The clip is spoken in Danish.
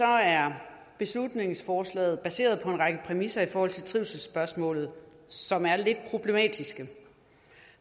er beslutningsforslaget baseret på en række præmisser i forhold til trivselsspørgsmålet som er det problematiske